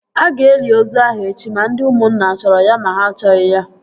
A ga-eli ozu ahụ echi ma ndị ụmụnna a chọrọ ya ma ha achọghị ya!